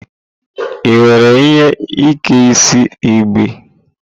Ị nwere ihe Ike isi igbe?